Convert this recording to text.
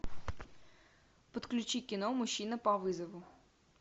подключи кино мужчина по вызову